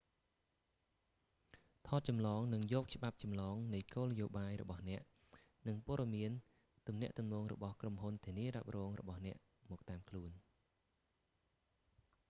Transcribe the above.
ថតចម្លងនិងយកច្បាប់ចម្លងនៃគោលនយោបាយរបស់អ្នក និងព័ត៌មានទំនាក់ទំនងរបស់ក្រុមហ៊ុនធានារ៉ាប់រងរបស់អ្នកមកតាមខ្លួន